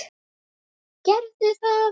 Gerum það!